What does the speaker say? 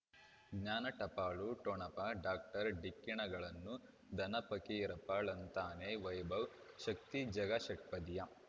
ಜ್ಞಾನ ಟಪಾಲು ಠೊಣಪ ಡಾಕ್ಟರ್ ಢಿಕ್ಕಿ ಣಗಳನು ಧನ ಫಕೀರಪ್ಪ ಳಂತಾನೆ ವೈಭವ್ ಶಕ್ತಿ ಝಗಾ ಷಟ್ಪದಿಯ